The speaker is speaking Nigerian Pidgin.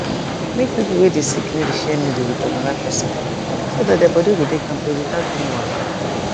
make people wey dey sick no dey share needle with another person so that their body go dey kampe without any wahala